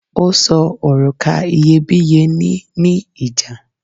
o sọ oruka iyebiye ni ni ìjà